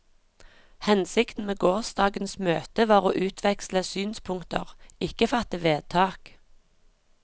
Hensikten med gårsdagens møte var å utveksle synspunkter, ikke fatte vedtak.